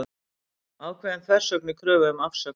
Ákveðin þversögn í kröfu um afsögn